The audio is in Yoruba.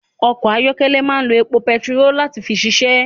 Ọkọ̀ ayọ́kẹ́lẹ́ máa ń lo epo bentiroolu láti fi ṣiṣẹ́